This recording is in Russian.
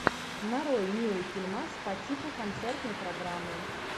нарой милый фильмас по типу концертной программы